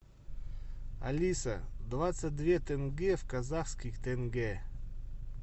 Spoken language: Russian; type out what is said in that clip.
алиса двадцать две тенге в казахских тенге